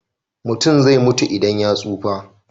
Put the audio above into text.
Mutum zai mutu idan ya tsufa.